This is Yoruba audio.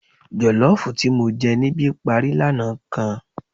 Jọ̀lọ́ọ̀fù tí mo jẹ níbi parí lánàá kan